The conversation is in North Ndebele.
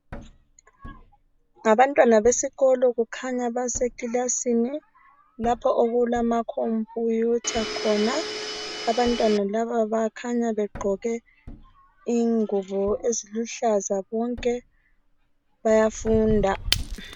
Ngabantwana besikolo kukhanya basekilasini lapho okulamakhompiyutha khona. Abantwana laba bakhanya begqoke ingubo eziluhlaza bonke bayafunda.